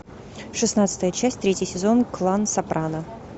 шестнадцатая часть третий сезон клан сопрано